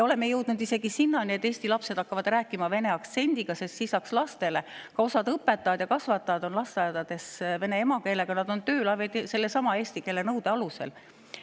Oleme jõudnud isegi sinnamaale, et eesti lapsed hakkavad rääkima vene aktsendiga, sest lisaks lastele on ka osa lasteaiaõpetajaid ja kasvatajaid vene emakeelega, nad on tööl sellesama eesti keele nõude alusel.